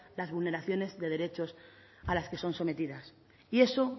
las vulneraciones de derechos a las que son sometidas y eso